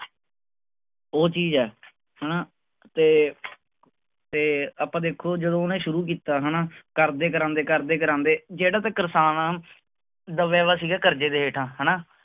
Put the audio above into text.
ਉਹ ਚੀਜ਼ ਹੈ ਹਨਾ, ਤੇ ਤੇ ਆਪਾਂ ਦੇਖੋ ਜਦੋਂ ਉਹਨੇ ਸ਼ੁਰੂ ਕੀਤਾ ਹਨਾ, ਕਰਦੇ ਕਰਾਉਂਦੇ ਕਰਦੇ ਕਰਾਉਂਦੇ ਜਿਹੜਾ ਤਾਂ ਕਿਸਾਨ ਆਂ ਦਬਿਆ ਹੋਇਆ ਸੀਗਾ ਕਰਜੇ ਦੇ ਹੇਠਾਂ ਹਨਾ,